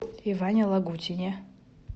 иване лагутине